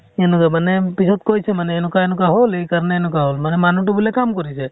সেনেকুৱা মানে পিছত কৈছে মানে এনেকুৱা এনেকুৱা হʼল, এইকাৰণে এনেকুৱা হʼল । মানে মানুহ তো মানে কাম কৰিছে ।